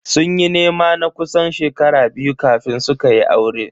Sun yi nema na kusan shekaru biyu kafin su kayi aure.